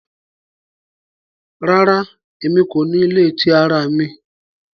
Rara, Emi ko ni ile ti ara mi